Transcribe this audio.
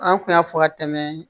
An kun y'a fɔ ka tɛmɛ